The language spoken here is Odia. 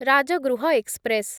ରାଜଗୃହ ଏକ୍ସପ୍ରେସ୍